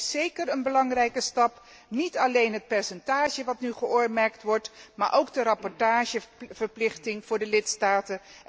Maar het is zeker een belangrijke stap, niet alleen het percentage dat nu geoormerkt wordt, maar ook de rapportageverplichting voor de lidstaten.